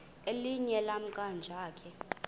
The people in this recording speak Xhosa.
elinye lamaqhaji akhe